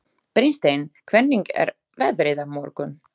Brynsteinn, hvernig er veðrið á morgun?